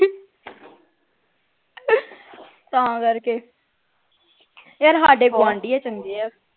ਤਾਂ ਕਰਕੇ ਯਾਰ ਸਾਢੇ ਗੁਆਂਢੀ ਆ ਚੰਗੇ ਹੈ